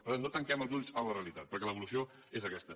per tant no tanquem els ulls a la realitat perquè l’evolució és aquesta